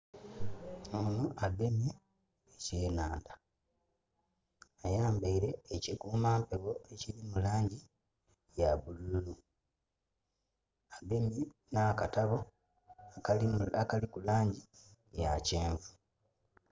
Ono agemye ekyenandha, ayambaile eki kumampegho ekili mu langi ya bululu, agemye na katabo akaliku langi ya kyenvu.